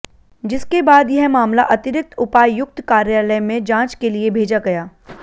जिसके बाद यह मामला अतिरिक्त उपायुक्त कार्यालय में जांच के लिए भेजा गया